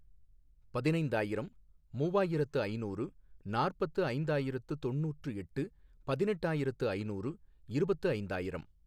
பதினைந்தாயிரம், மூவாயிரத்து ஐநூறு, நாற்பத்து ஐந்தாயிரத்து தொண்ணூற்று எட்டு, பதினெட்டாயிரத்து ஐநூறு, இருபத்து ஐந்தாயிரம்